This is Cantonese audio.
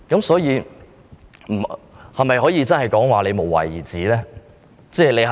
所以，我可否說局長真的是無為而治呢？